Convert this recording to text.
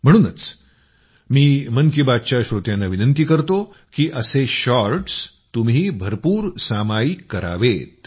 म्हणूनच मी मन की बातच्या श्रोत्यांना विनंती करतो की असे शॉर्टस् तुम्ही भरपूर सामायिक करावेत